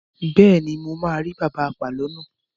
Bẹ́ẹ̀ni, mo máa rí bàbá apàlo náà.